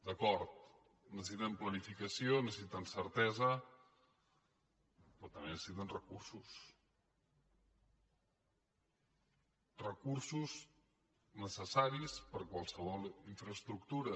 d’acord necessiten planificació necessiten certesa però també necessiten recursos recursos necessaris per a qualsevol infraestructura